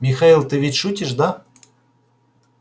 михаил ты ведь шутишь да